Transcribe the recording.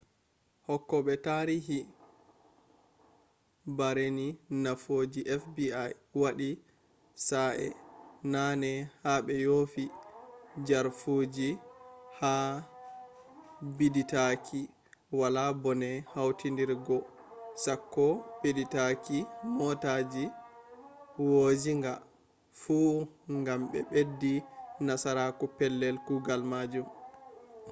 hokkobe tarihi baarini nufooji fbi wadi sa'e nane ha be yofi jarfaji ha biditaaki wala bone wawtiriggo sakko biditaaki mootaji woojjinga fu gam be beddi nasaraku pellel kugal majum